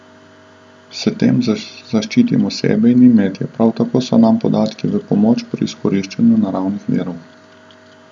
S tem zaščitimo sebe in imetje, prav tako so nam podatki v pomoč pri izkoriščanju naravnih virov.